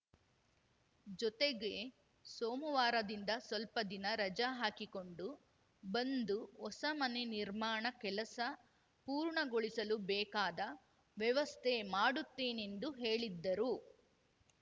ಜೊತೆಗೆ ಸೋಮವಾರದಿಂದ ಸ್ವಲ್ಪ ದಿನ ರಜ ಹಾಕಿಕೊಂಡು ಬಂದು ಹೊಸ ಮನೆ ನಿರ್ಮಾಣ ಕೆಲಸ ಪೂರ್ಣಗೊಳಿಸಲು ಬೇಕಾದ ವ್ಯವಸ್ಥೆ ಮಾಡುತ್ತೇನೆಂದು ಹೇಳಿದ್ದರು